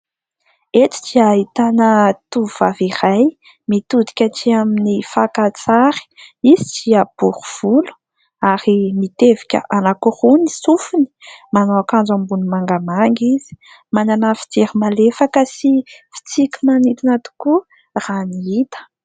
Eto dia ahitana tovovavy iray mitodika aty amin'ny fakantsary. Izy dia bory volo ary mitevika anankiroa ny sofiny. Manao akanjo ambony mangamanga izy. Manana fijery malefaka sy fitsiky manintona tokoa raha ny hita.